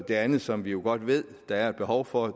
det andet som vi jo godt ved der er behov for